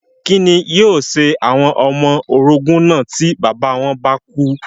Kí ni yóò ṣe àwọn ọmọ orogún náà tí bàbá wọn bá kú?